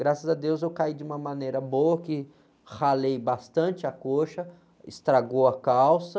Graças a Deus eu caí de uma maneira boa, que ralei bastante a coxa, estragou a calça,